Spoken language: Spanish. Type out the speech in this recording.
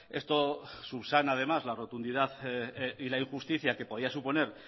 esto subsana además la rotundidad y la injusticia que podía suponer